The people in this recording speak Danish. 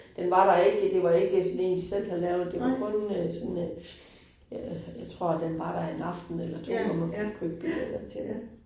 Den var der ikke, det var ikke sådan 1, de selv havde lavet, det var kun øh sådan øh, jeg jeg tror den var der 1 aften eller 2, når man kunne købe biletter til det